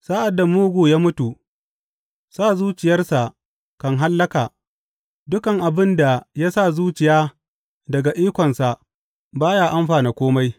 Sa’ad da mugu ya mutu, sa zuciyarsa kan hallaka; dukan abin da ya sa zuciya daga ikonsa ba ya amfana kome.